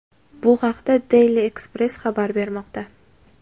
Bu haqda Daily Express xabar bermoqda .